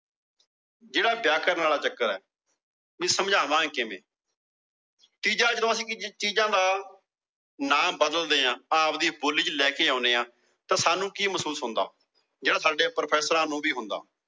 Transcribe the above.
ਜਿਹੜਾ ਵਿਆਕਰਣ ਵਾਲਾ ਚੱਕਰ ਏ ਇਹਨੂੰ ਸਮਝਾਵਾਂਗੇ ਕਿਵੇਂ? ਤੀਜਾ ਜਦੋ ਅਸੀਂ ਚੀਜ਼ਾਂ ਦਾ ਨਾ ਬਦਲ ਦੇ ਆ। ਆਵਦੀ ਬੋਲੀ ਚ ਲੈਕੇ ਆਉਣੇ ਆ। ਸਾਂਨੂੰ ਕੀ ਮਹਿਸੂਸ ਹੁੰਦਾ? ਜਿਹੜਾ ਸਾਡੇ Professors ਨੂੰ ਵੀ ਹੁੰਦਾ।